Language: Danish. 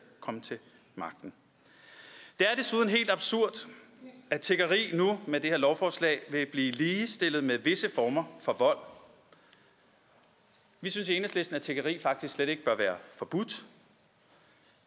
kom til magten det er desuden helt absurd at tiggeri nu med det her lovforslag vil blive ligestillet med visse former for vold vi synes i enhedslisten at tiggeri faktisk slet ikke bør være forbudt